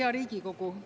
Hea Riigikogu!